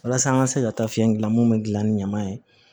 Walasa an ka se ka taa fiɲɛ gilan mun bɛ dilan ni ɲaman ye